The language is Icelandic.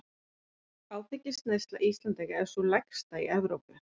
Áfengisneysla Íslendinga er sú lægsta í Evrópu.